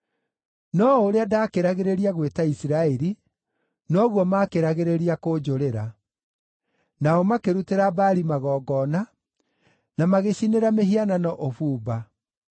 No o ũrĩa ndaakĩragĩrĩria gwĩta Isiraeli, noguo maakĩragĩrĩria kũnjũrĩra. Nao makĩrutĩra Baali magongona, na magĩcinĩra mĩhianano ũbumba.